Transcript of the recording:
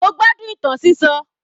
Mo gbádùn ìtàn sísọ.